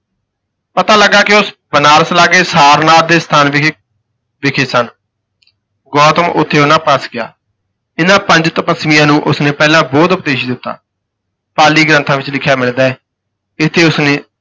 ਪਤਾ ਲੱਗਾ ਕਿ ਉਹ ਬਨਾਰਸ ਲਾਗੇ ਸਾਰਨਾਥ ਦੇ ਸਥਾਨ ਵਿਖੇ ਵਿਖੇ ਸਨ, ਗੌਤਮ ਉਥੇ ਉਨ੍ਹਾਂ ਪਾਸ ਗਿਆ, ਇਨ੍ਹਾਂ ਪੰਜ ਤਪੱਸਵੀਆਂ ਨੂੰ ਉਸ ਨੇ ਪਹਿਲਾ ਬੋਧ-ਉਪਦੇਸ਼ ਦਿੱਤਾ, ਪਾਲੀ ਗ੍ਰੰਥਾਂ ਵਿਚ ਲਿਖਿਆ ਮਿਲਦਾ ਹੈ ਇੱਥੇ ਉਸ ਨੇ